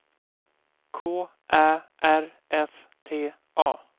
K Ä R S T A